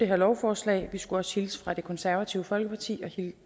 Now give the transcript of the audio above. her lovforslag vi skulle også hilse fra det konservative folkeparti